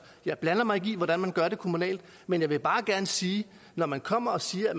jeg blander mig ikke i hvordan man gør det kommunalt men jeg vil bare gerne sige at når man kommer og siger